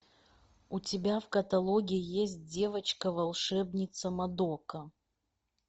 у тебя в каталоге есть девочка волшебница мадока